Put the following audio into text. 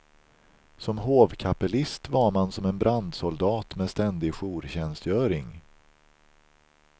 Som hovkapellist var man som en brandsoldat med ständig jourtjänstgöring.